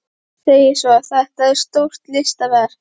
Segir svo: Þetta er stórt listaverk.